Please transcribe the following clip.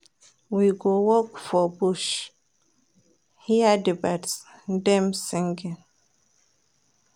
We go walk for bush, hear di birds dem singing.